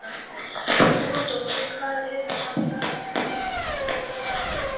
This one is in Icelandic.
Runólfur, hvað er á dagatalinu í dag?